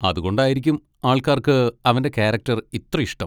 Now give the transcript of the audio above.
അതുകൊണ്ടായിരിക്കും ആൾക്കാർക്ക് അവൻ്റെ കാരക്ടർ ഇത്ര ഇഷ്ടം.